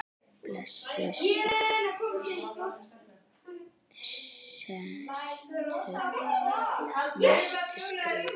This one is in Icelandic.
Blessuð sé minning Ólafar.